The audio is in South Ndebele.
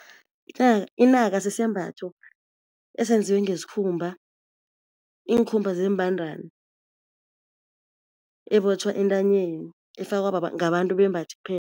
Inaka sisembatho esenziwe ngesikhumba, iinkhumba zeembandani ebotjhwa entanyeni efakwa ngabantu bembaji